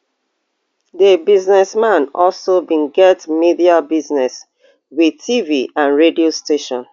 di businessman also bin get media business wit tv and radio station